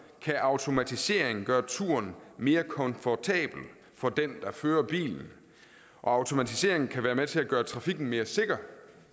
kan automatiseringen gøre turen mere komfortabel for den der fører bilen og automatiseringen kan være med til at gøre trafikken mere sikker